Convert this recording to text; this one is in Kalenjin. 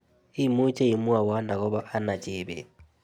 Imuche imwowon agobo anna chebet